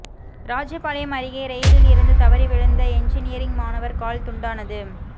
ராஜபாளையம் அருகே ரெயிலில் இருந்து தவறி விழுந்த என்ஜினீயரிங் மாணவர் கால் துண்டானது